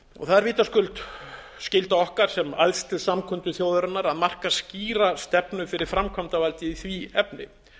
það er vitaskuld skylda okkar sem æðstu samkundu þjóðarinnar að marka skýra stefnu fyrir framkvæmdavaldið í því efni